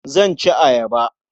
Zan ci ayaba.